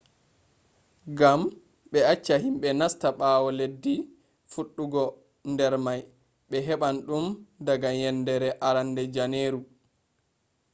gam be acca himbe nasta bawo leddi fuddugo der may be heban dum daga yendere arande janeru